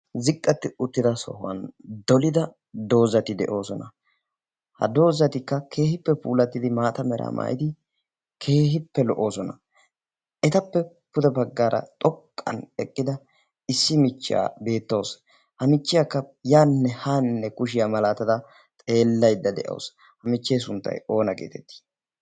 ziqqatti uttida sohuwan dolida doozati de'oosona ha doozatikka keehippe puulattidi maata meraa maayidi keehippe lo'oosona etappe pude paggaara xoqqan eqqida issi michchaa beettoos ha michchiyaakka yaaninne haaninne kushiyaa malaatada xeellaydda de'aasu ha michchee sunttay oona geetettii